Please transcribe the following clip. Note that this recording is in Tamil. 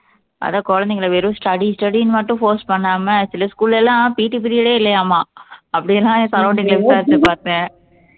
அதான் குழந்தைங்களை வெறும் study study ன்னு மட்டும் force பண்ணாம சில school ல எல்லாம் PT period ஏ இல்லையாமாம் அப்படியெல்லாம் என் surrounding ல விசாரிச்சு பார்த்தேன்